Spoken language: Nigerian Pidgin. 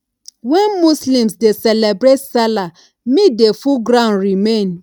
when muslims dey celebrate salah meat dey full ground remain